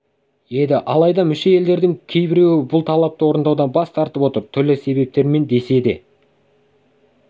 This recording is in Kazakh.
еді алайда мүше елдердің кейібіреуі бұл талапты орындаудан бас тартып отыр түрлі себептермен десе де